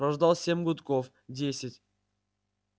прождал семь гудков десять